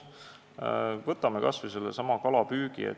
Võtame kas või sellesama kalapüügi.